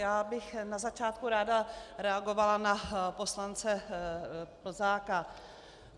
Já bych na začátku ráda reagovala na poslance Plzáka.